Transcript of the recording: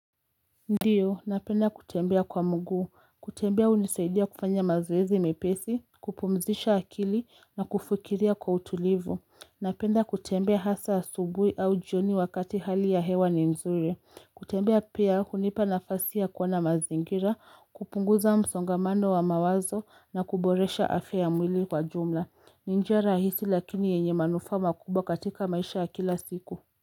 Ndiyo napenda kutembea kwa mguu, kutembea hunisaidia kufanya mazoezi mepesi, kupumzisha akili na kufukiria kwa utulivu, napenda kutembea hasa asubuhi au jioni wakati hali ya hewa ni nzuri, kutembea pia hunipa nafasi ya kuona mazingira, kupunguza msongamano wa mawazo na kuboresha afya ya mwili kwa jumla, ni njia rahisi lakini yenye manufaa makubwa katika maisha ya kila siku.